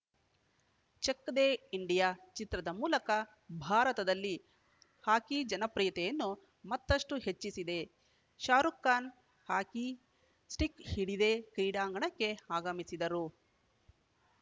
check De India ಚಿತ್ರದ ಮೂಲಕ ಭಾರತದಲ್ಲಿ ಹಾಕಿ ಜನಪ್ರಿಯತೆಯನ್ನು ಮತ್ತಷ್ಟುಹೆಚ್ಚಿಸಿದ ಶಾರುಖ್‌ ಖಾನ್‌ ಹಾಕಿ ಸ್ಟಿಕ್‌ ಹಿಡಿದೇ ಕ್ರೀಡಾಂಗಣಕ್ಕೆ ಆಗಮಿಸಿದರು